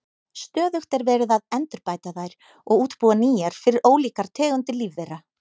Stöðugt er verið að endurbæta þær og útbúa nýjar fyrir ólíkar tegundir lífvera.